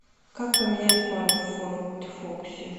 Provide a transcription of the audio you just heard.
как поменять фару в форд фокусе